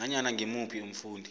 nanyana ngimuphi umfundi